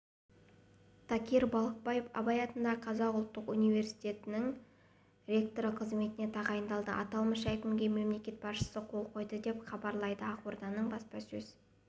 такир балықбаев абай атындағы қазақ ұлттық педагогикалық университетінің ректоры қызметіне тағайындалды аталмыш өкімге мемлекет басшысы қол қойды деп хабарлайды ақорданың баспасөз